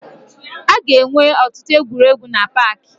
Aga enwe ọtụtụ egwuregwu na paakị